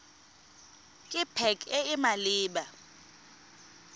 ke pac e e maleba